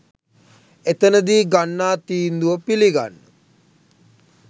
එතනදී ගන්නා තීන්දුව පිළිගන්න